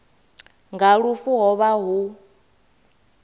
nga lufu ho vha hu